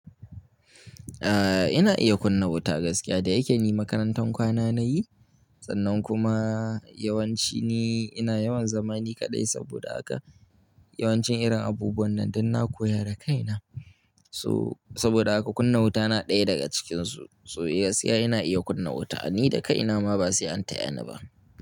Ah ina iya kunna wuta gaskiya, da yake ni makarantar kwana nayi sannan kuma, yawanci ni ina yawan zama ni kaɗai, saboda haka yawancin irin abubuwan nan dan na koya da kaina, so saboda haka kunna wuta na ɗaya daga cikin su, so yes eh ina iya kunna wuta ni da kai na ma. Ba sai an tayani ba.